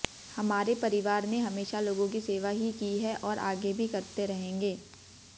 हमारे परिवार ने हमेशा लोगों की सेवा ही की है और आगे भी करते रहेंगे